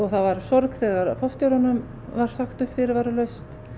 það var sorg þegar forstjóranum var sagt upp fyrirvaralaust